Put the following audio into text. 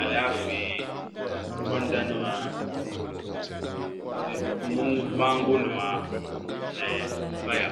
Alaafee gonda nima mango nima ni paya